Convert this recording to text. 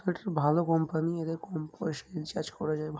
এটার ভালো কোম্পানি এদের কম পয়সায় রিচার্জ করা যায়। ভা--